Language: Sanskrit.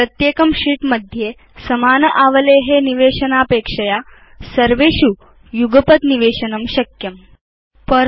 इत्युक्ते व्यक्तिश प्रत्येकं शीत् उपरि समान आवले निवेशनापेक्षया भवान् तां सर्वेषु शीत् इत्येषु युगपत् निवेशयितुं शक्नोति